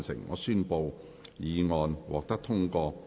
我宣布議案獲得通過。